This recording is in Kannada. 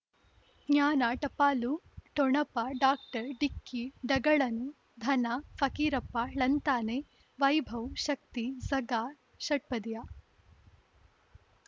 ಜ್ಞಾನ ಟಪಾಲು ಠೊಣಪ ಡಾಕ್ಟರ್ ಢಿಕ್ಕಿ ಢಗಳನು ಧನ ಫಕೀರಪ್ಪ ಳಂತಾನೆ ವೈಭವ್ ಶಕ್ತಿ ಝಗಾ ಷಟ್ಪದಿಯ